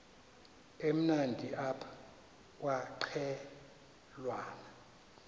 emnandi apha kwaqhelwana